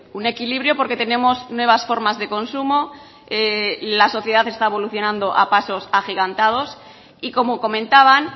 un equilibrio porque tenemos nuevas formas de consumo la sociedad está evolucionando a pasos agigantados y como comentaban